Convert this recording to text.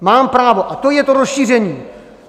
Mám právo, a to je to rozšíření.